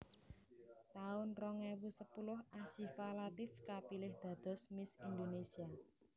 taun rong ewu sepuluh Asyifa Latief kapilih dados Miss Indonesia